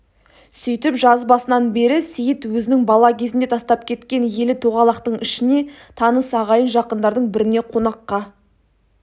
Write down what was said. сөйтіп жаз басынан бері сейіт өзінің бала кезінде тастап кеткен елі тоғалақтың ішіне таныс ағайын жақындардың біріне қонаққа